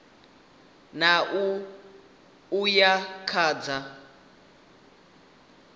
ṋ a uya kha dza